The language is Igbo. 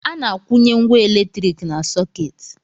A na-akwụnye ngwá elektrik na sọkeeti.